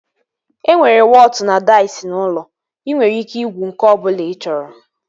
E nwere wọtụ na daiz n'ụlọ. Ị nwere ike igwu nke ọbụla ị chọrọ